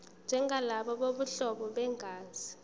njengalabo bobuhlobo begazi